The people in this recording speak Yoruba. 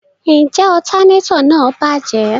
Njẹ alternator náà bajẹ?